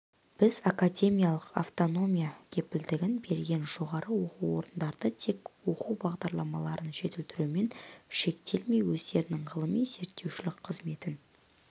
біз академиялық автономия кепілдігін берген жоғары оқу орындары тек оқу бағдарламаларын жетілдірумен шектелмей өздерінің ғылыми-зерттеушілік қызметін